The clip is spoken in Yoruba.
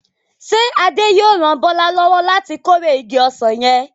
Ṣé Adé yóò ran Bọ́lá lọ́wọ́ láti kórè igi ọsàn yẹn?